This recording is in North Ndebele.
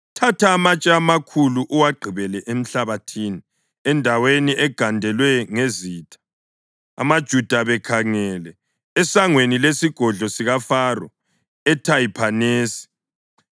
“Thatha amatshe amakhulu uwagqibele enhlabathini endaweni egandelwe ngezitina, amaJuda bekhangele, esangweni lesigodlo sikaFaro eThahiphanesi,